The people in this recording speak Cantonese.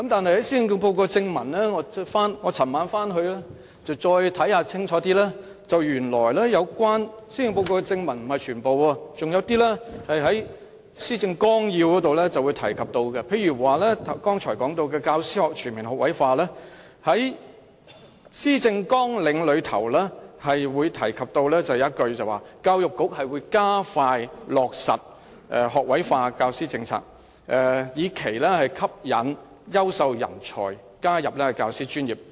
但是，我昨夜回去再仔細閱讀施政報告，原來有些建議是在施政報告正文以外，在施政綱領中提及，例如關於剛才提到的教師全面學位化，在施政綱領中提到："教育局會加快落實學位化教師政策，以期吸引優秀人才加入教師專業"。